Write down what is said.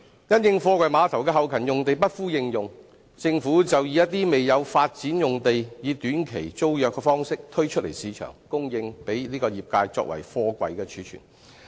因應貨櫃碼頭的後勤用地不敷應用，政府就以一些未有發展的用地以短期租約方式推出市場，供應業界作貨櫃貯存。